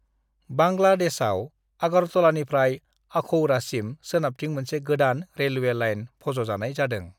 बांग्लादेशआव आगरतलानिफ्राय अखौरासिम सोनाबथिं मोनसे गोदान रेलवे लाइन फज'जानाय जादों